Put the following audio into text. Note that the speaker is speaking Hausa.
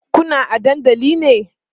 Kuna a dandali ne?